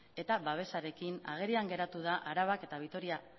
eta babesarekin agerian geratu da arabak eta vitoria